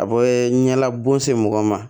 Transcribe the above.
A bɛ ɲɛla bon se mɔgɔ ma